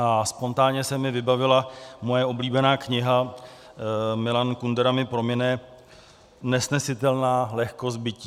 A spontánně se mi vybavila moje oblíbená kniha - Milan Kundera mi promine - Nesnesitelná lehkost bytí.